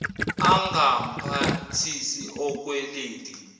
angamphathisi okwe lady